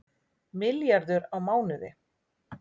Milljarður á mánuði